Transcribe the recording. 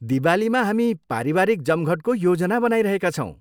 दिवालीमा हामी पारिवारिक जमघटको योजना बनाइरहेका छौँ।